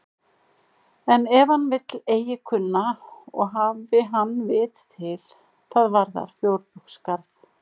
En ef hann vill eigi kunna og hafi hann vit til, það varðar fjörbaugsgarð.